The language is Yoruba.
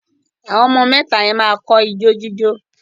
Àwọn ọmọ mẹ́ta yẹn máa kọ́ ijó jíjó